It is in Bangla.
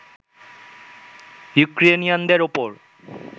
ইউক্রেনিয়ানদের উপর